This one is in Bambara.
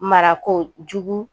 Marakojugu